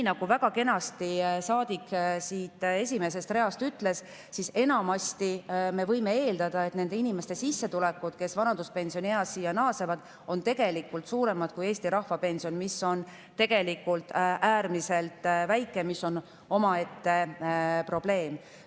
Nagu saadik siit esimesest reast väga kenasti ütles, enamasti me võime eeldada, et nende inimeste sissetulekud, kes vanaduspensionieas siia naasevad, on suuremad kui Eesti rahvapension, mis on tegelikult äärmiselt väike, kusjuures see on omaette probleem.